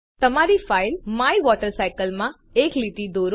તમારી file my water cycle માં એક લીટી દોરો